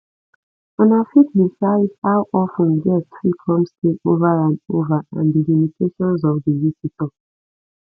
una fit decide how of ten guests fit come stay over and over and di limitations of di visitor